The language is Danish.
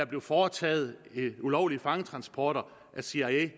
blev foretaget ulovlige fangetransporter af cia